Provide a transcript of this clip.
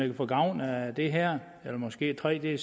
kan få gavn af det her eller måske tre